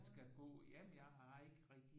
Man skal gå jamen jeg har ikke rigtigt